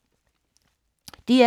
DR K